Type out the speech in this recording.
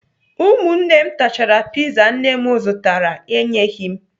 Ụmụnne m tachara piza nne m zụtara enyeghị m